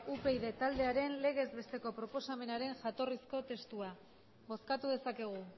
upyd taldearen legezbesteko proposamenaren jatorrizko testua bozkatu dezakegu